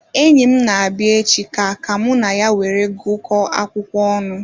Enyim na-abia echi ka ka mụ na ya were gu ko akwụkwọ ọnụ